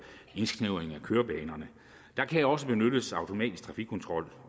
indsnævring af kørebanerne der kan også benyttes automatisk trafikkontrol